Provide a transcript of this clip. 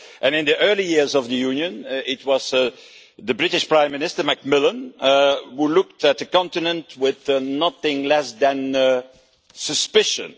In the early years of the Union it was the British Prime Minister Macmillan who looked at the continent with nothing less than suspicion.